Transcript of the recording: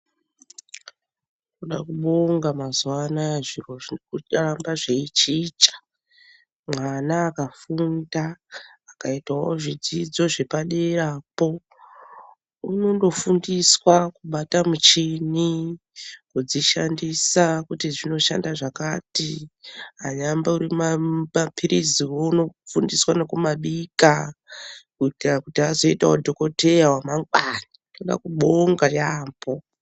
Toda kubonga mazuwaanaya zviro zvirikuramba zveichicha, mwana akafunda akaitawo zvidzidzo zvepaderapo uno ndofundiswa kubata muchini , kudzishandisa kuti dzinoshanda zvakati anyambori maphirizi uno fundiswa nokumabika kuitira kuti azoitawo dhogodheya wamangwani, toda kubonga yaambo.